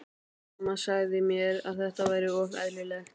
Mamma sagði mér að þetta væri ofur eðlilegt.